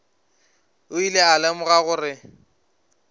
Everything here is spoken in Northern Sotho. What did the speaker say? o ile a lemoga gore